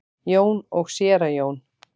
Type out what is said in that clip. Jón og séra Jón.